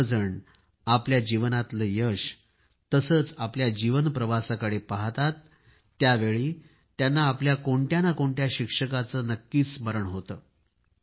सर्वजण आपल्या जीवनातल्या यशाला तसंच आपल्या जीवन प्रवासाकडे पाहतात त्यावेळी त्यांना आपल्या कोणत्या ना कोणत्या शिक्षकाचे नक्कीच स्मरण होते